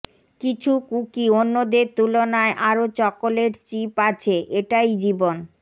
কিছু কুকি অন্যদের তুলনায় আরো চকলেট চিপ আছে এটাই জীবন